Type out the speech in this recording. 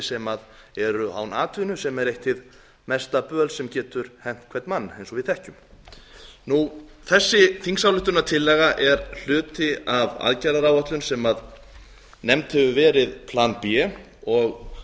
sem eru án atvinnu sem er eitt hið mesta böl sem getur hent hvern mann eins og við þekkjum þessi þingsályktunartillaga er hluti af aðgerðaráætlun sem nefnd hefur verið plan b og